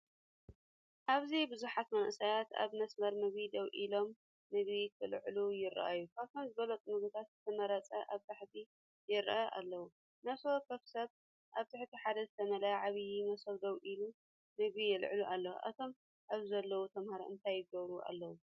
ኣብዚ ብዙሓት መንእሰያት ኣብ መስመር ምግቢ ደው ኢሎም፡ምግቢ ከልዕሉ ይረኣዩ። ካብቶም ዝበለጹ ምግብታት ዝተመርጹ ኣብ ታሕቲ ይራኣዩኣለዉ። ነፍሲ ወከፍ ሰብ ኣብ ትሕቲ ሓደ ዝተመልአ ዓቢ መሶብ ደው ኢሉ ምግቡ የልዕሉ ኣሎ። እቶም ኣብዚ ዘለዉ ተምሃሮ እንታይ ይገብሩ ኣለዉ?